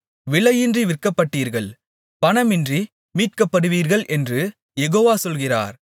விலையின்றி விற்கப்பட்டீர்கள் பணமின்றி மீட்கப்படுவீர்கள் என்று யெகோவா சொல்கிறார்